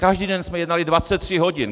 Každý den jsme jednali 23 hodin!